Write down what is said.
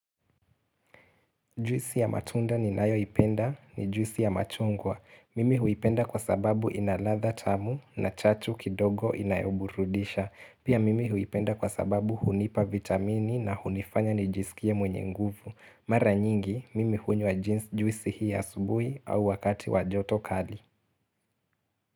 Juisi ya matunda ni nayo ipenda ni juisi ya machungwa. Mimi huipenda kwa sababu inaladha tamu na chachu kidogo inayoburudisha. Pia mimi huipenda kwa sababu hunipa vitamini na hunifanya nijisikie mwenye nguvu. Mara nyingi, mimi hunya jeans juisi hii ya subuhi au wakati wajoto kali.